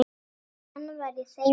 Hann var í þeim hópi.